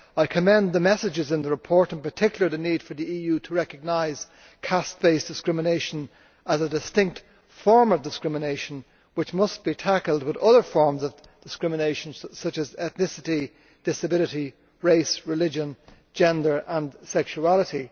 I commend the messages in the report, in particular the need for the EU to recognise caste based discrimination as a distinct form of discrimination which must be tackled with other forms of discrimination, such as discrimination on the grounds of ethnicity, disability, race, religion, gender and sexuality.